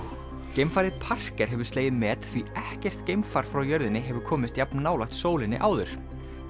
geimfarið Parker hefur slegið met því ekkert geimfar frá jörðinni hefur komist jafn nálægt sólinni áður